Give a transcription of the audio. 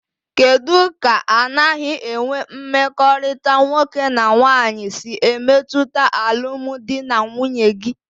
Kedụ ka anaghị enwe mmekọrịta nwoke na nwaanyị si emetụta alụmdi na nwunye gị?